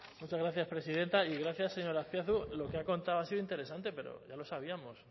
muchas gracias presidenta y gracias señor azpiazu lo que ha contado ha sido interesante pero ya lo sabíamos